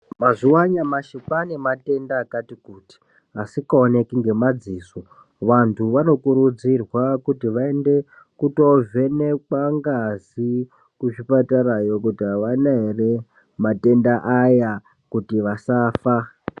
Mazuva anyamashi kwane matenda akati kuti asikaoneki ngemadziso. Vantu vanokurudzirwa kuti vaende kutovhenekwa ngazi kuzvipatarayo kuti havana ere matenda aya kuti vasafa.